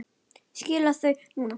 Skilur þau núna.